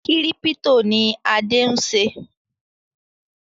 Kírípítò ni Adé ń ṣe